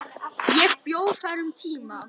Ég bjó þar um tíma.